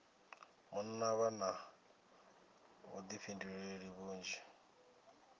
munna vha na vhuḓifhinduleli vhunzhi